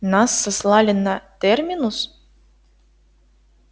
нас сослали на терминус